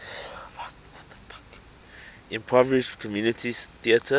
improvised community theatre